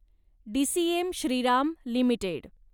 DCM Shriram limited